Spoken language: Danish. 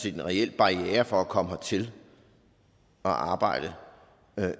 en reel barriere for at komme hertil og arbejde